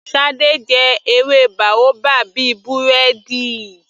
Shade jẹ ewé boabab bíi búrẹ́dì.